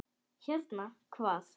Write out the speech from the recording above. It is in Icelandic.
Hérna, hvað?